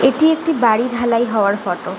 এটি একটি বাড়ি ঢালাই হওয়ার ফটো ।